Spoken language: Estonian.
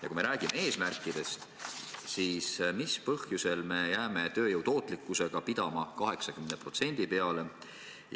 Ja kui me räägime eesmärkidest, siis mis põhjusel me jääme tööjõu tootlikkusega pidama 80% peale?